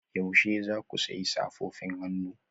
Yaushe za ku sayi safofin hannu